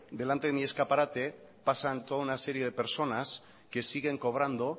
delante de mi escaparte pasan toda una serie de personas que siguen cobrando